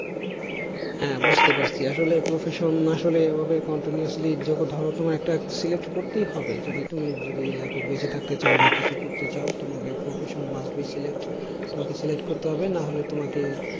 হ্যাঁ বুঝতে পারছি আসলে profession আসলে এভাবে continuously যত ধরো তোমার একটা delete করতেই হবে যদি তুমি যদি life এ বেঁচে থাকতে চাও বা কিছু করতে চাও তোমাকে profession must be delete তোমাকে delete করতে হবে না হলে তোমাকে